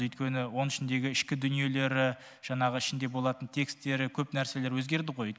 өйткені оның ішіндегі ішкі дүниелері жаңағы ішінде болатын текстері көп нәрселер өзгерді ғой